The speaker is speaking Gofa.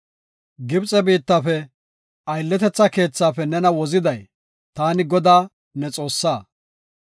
“Gibxe biittafe, aylletetha keethaafe nena woziday taani Godaa, ne Xoossaa.